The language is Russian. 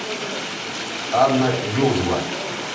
анна юзова